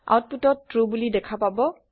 আওতপুটত true বোলি দেখা পাব